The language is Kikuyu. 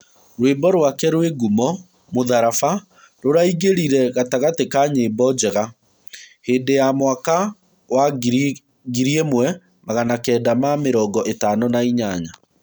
Rwĩmbo rwake rwĩ ngumo mũtharaba rũraingĩrire gatagatĩ ka nyĩmbo njega. Hĩndĩ ya mwaka wa ngiri ĩmwe magana Kenda ma mĩrongo ĩtano na inyanya.